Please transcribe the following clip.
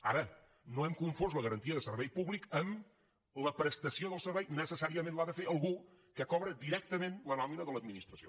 ara no hem confós la garantia de servei públic amb la prestació del servei necessàriament l’ha de fer algú que cobra directament la nòmina de l’administració